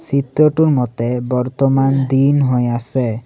চিত্ৰটোৰ মতে বৰ্তমান দিন হৈ আছে।